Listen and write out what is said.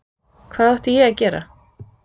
Hvað átti ég að gera?